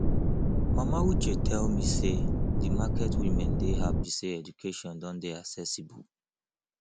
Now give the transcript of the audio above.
mama uche tell me say the market women dey happy say education don dey accessible